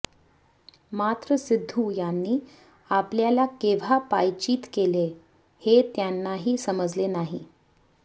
मात्र सिद्धू यांनी आपल्याला केव्हा पायचीत केले हे त्यांनाही समजले नाही